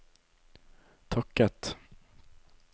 takket